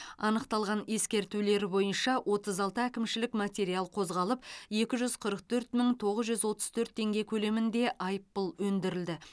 анықталған ескертулер бойынша отыз алты әкімшілік материал қозғалып екі жүз қырық төрт мың тоғыз жүз отыз төрт теңге көлемінде айыппұл өндірілді